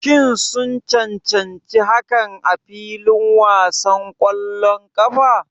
Shin sun cancanci hakan a filin wasan ƙwallon ƙafa?